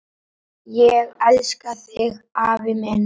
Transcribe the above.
Ég elska þig, afi minn.